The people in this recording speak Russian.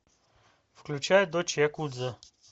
включай дочь якудзы